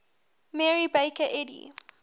mary baker eddy